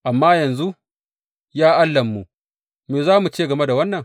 Amma yanzu, ya Allahnmu, me za mu ce game da wannan?